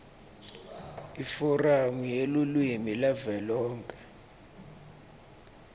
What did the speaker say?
iforamu yelulwimi yavelonkhe